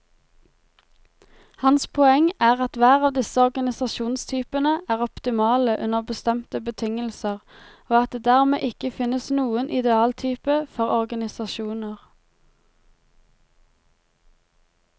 Hans poeng er at hver av disse organisasjonstypene er optimale under bestemte betingelser, og at det dermed ikke finnes noen idealtype for organisasjoner.